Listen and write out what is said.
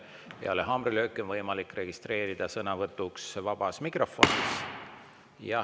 Peale haamrilööki on võimalik registreeruda sõnavõtuks vabas mikrofonis.